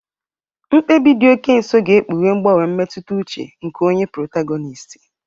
Mkpebi dị oke nso ga-ekpughe mgbanwe mmetụta uche nke onye protagonisiti.